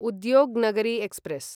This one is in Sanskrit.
उद्योग् नगरी एक्स्प्रेस्